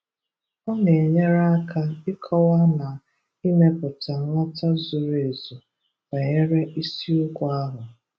Ọ na-enyere aka ịkowa na ịmeputa nghọta zuru ezu banyere isiokwu ahụ.